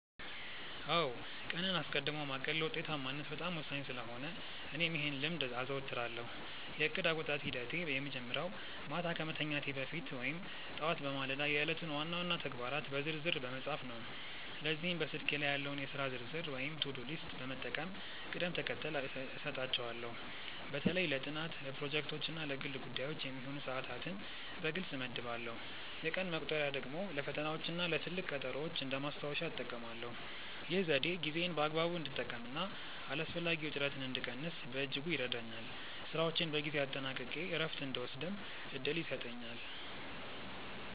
አዎ ቀንን አስቀድሞ ማቀድ ለውጤታማነት በጣም ወሳኝ ስለሆነ እኔም ይህን ልምድ አዘወትራለሁ። የእቅድ አወጣጥ ሂደቴ የሚጀምረው ማታ ከመተኛቴ በፊት ወይም ጠዋት በማለዳ የዕለቱን ዋና ዋና ተግባራት በዝርዝር በመጻፍ ነው። ለዚህም በስልኬ ላይ ያለውን የሥራ ዝርዝር ወይም ቱዱ ሊስት በመጠቀም ቅደም ተከተል እሰጣቸዋለሁ። በተለይ ለጥናት፣ ለፕሮጀክቶች እና ለግል ጉዳዮች የሚሆኑ ሰዓታትን በግልጽ እመድባለሁ። የቀን መቁጠሪያ ደግሞ ለፈተናዎችና ለትልቅ ቀጠሮዎች እንደ ማስታወሻ እጠቀማለሁ። ይህ ዘዴ ጊዜዬን በአግባቡ እንድጠቀምና አላስፈላጊ ውጥረትን እንድቀንስ በእጅጉ ይረዳኛል። ስራዎቼን በጊዜ አጠናቅቄ እረፍት እንድወስድም እድል ይሰጠኛል።